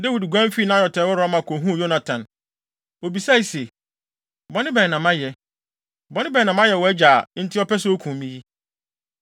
Dawid guan fii Naiot a ɛwɔ Rama kohuu Yonatan. Obisaa se, “Bɔne bɛn na mayɛ? Bɔne bɛn na mayɛ wʼagya, a enti ɔpɛ sɛ okum me yi?”